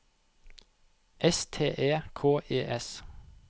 S T E K E S